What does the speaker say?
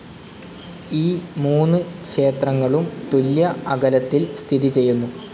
ഈ മൂന്ന് ക്ഷേത്രങ്ങളും തുല്യ അകലത്തിൽ സ്ഥിതി ചെയുന്നു.